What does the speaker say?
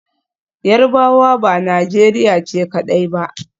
Yarbawa ba Najeriya ce kadai ba.